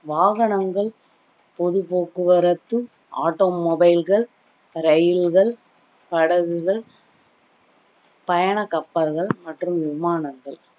வாகனங்கள் பொது போக்குவரத்து automobile கள் இரயில்கள், படகுகள், பயண கப்பல்கள் மற்றும் விமானங்கள்